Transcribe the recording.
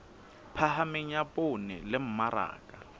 phahameng ya poone le mmaraka